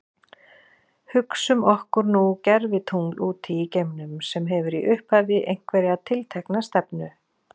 Hugsum okkur nú gervitungl úti í geimnum sem hefur í upphafi einhverja tiltekna stefnu.